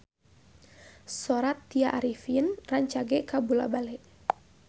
Sora Tya Arifin rancage kabula-bale